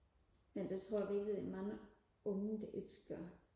men det tror jeg virkelig der er mange unge der ikke gør